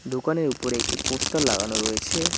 দোকানের উপরে একটি পোস্টার লাগানো রয়েছে।